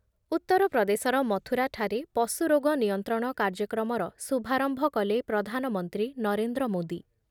ଉତ୍ତରପ୍ରଦେଶର ମଥୁରାଠାରେ ପଶୁରୋଗ ନିୟନ୍ତ୍ରଣ କାର୍ଯ୍ୟକ୍ରମର ଶୁଭାରମ୍ଭ କଲେ ପ୍ରଧାନମନ୍ତ୍ରୀ ନରେନ୍ଦ୍ର ମୋଦୀ